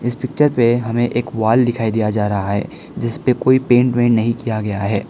Picture पे हमें एक वॉल दिखाई दिया जा रहा है जिस पे कोई पेंट वेंट नहीं किया गया है।